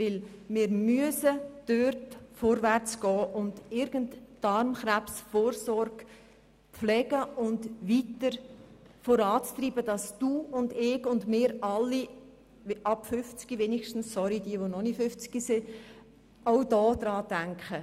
Denn wir müssen hier vorwärts gehen und die Darmkrebsvorsorge pflegen und weiter vorantreiben, damit wir alle ab 50 Jahren daran denken.